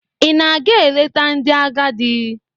Ị na-aga ileta ndị agadị?